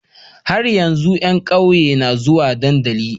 Har yanzu a yan ƙauye na zuwa dandali